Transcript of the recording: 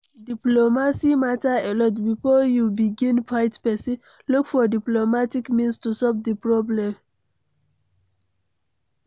Diplomacy matter alot, before you begin fight person, look for diplomatic means to solve di problem